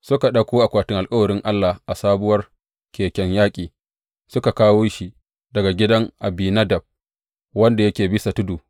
Suka ɗauko akwatin alkawarin Allah a sabuwar keken yaƙi, suka kawo shi daga gidan Abinadab, wanda yake bisa tudu.